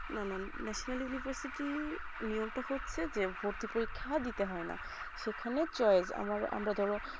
না না national university নিব তো হচ্ছে যে ভর্তি পরীক্ষা দিতে হয়ে না সেখানে choice আমরা ধরো